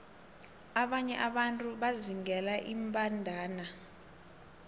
abanye abantu bazingela iimbandana